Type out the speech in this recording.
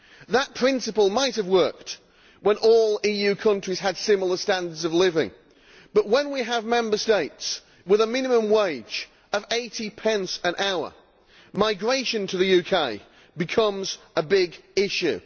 That principle might have worked when all EU countries had similar standards of living but, when we have Member States with a minimum wage of 80 pence an hour, migration to the UK becomes a big issue.